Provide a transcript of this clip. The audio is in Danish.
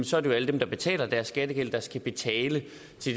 så alle dem der betaler deres skattegæld der skal betale